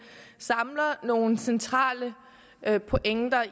samler nogle centrale pointer